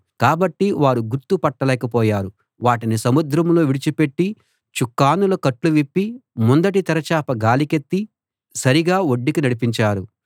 కాబట్టి వారు గుర్తు పట్టలేకపోయారు వాటిని సముద్రంలో విడిచి పెట్టి చుక్కానుల కట్లు విప్పి ముందటి తెరచాప గాలికెత్తి సరిగా ఒడ్డుకి నడిపించారు